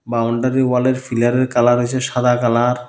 Boundary ওয়ালের ফিলারের colour হইসে সাদা কালার ।